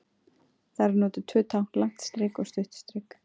Þar eru notuð tvö tákn, langt strik og stutt strik.